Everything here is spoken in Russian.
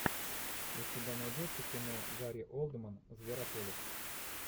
у тебя найдется кино гари олдман зверополис